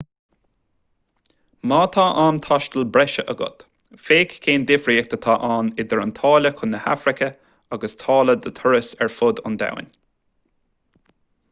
má tá am taistil breise agat féach cén difríocht atá ann idir an táille chun na hafraice agus táille do thuras ar fud an domhain